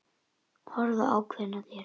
Horfa ákveðin á þær.